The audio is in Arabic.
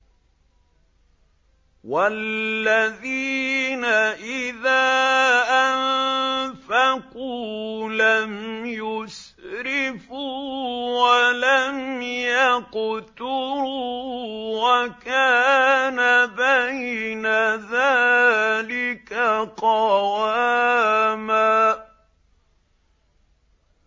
وَالَّذِينَ إِذَا أَنفَقُوا لَمْ يُسْرِفُوا وَلَمْ يَقْتُرُوا وَكَانَ بَيْنَ ذَٰلِكَ قَوَامًا